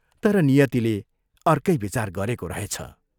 तर नियतिले अर्कै विचार गरेको रहेछ।